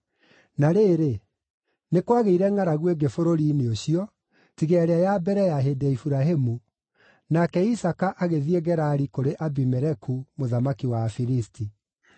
Na rĩrĩ, nĩ kwagĩire ngʼaragu ĩngĩ bũrũri-inĩ ũcio, tiga ĩrĩa ya mbere ya hĩndĩ ya Iburahĩmu, nake Isaaka agĩthiĩ Gerari kũrĩ Abimeleku mũthamaki wa Afilisti.